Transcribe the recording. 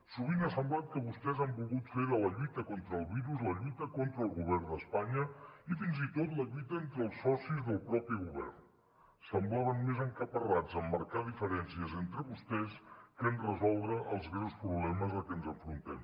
sovint ha semblat que vostès han volgut fer de la lluita contra el virus la lluita contra el govern d’espanya i fins i tot la lluita entre els socis del mateix govern semblaven més encaparrats en marcar diferències entre vostès que en resoldre els greus problemes a què ens enfrontem